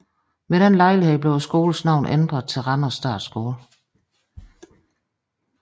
Ved den lejlighed blev skolens navn ændret til Randers Statskole